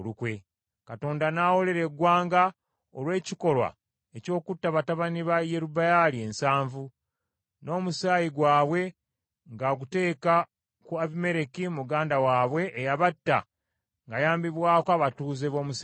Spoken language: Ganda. Katonda ng’awoolera eggwanga olw’ekikolwa eky’okutta batabani ba Yerubbaali ensanvu, n’omusaayi gwabwe ng’aguteeka ku Abimereki muganda waabwe eyabatta ng’ayambibwako abatuuze b’omu Sekemu.